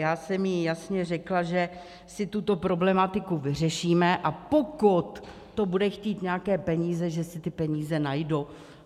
Já jsem jí jasně řekla, že si tuto problematiku vyřešíme, a pokud to bude chtít nějaké peníze, že si ty peníze najdu.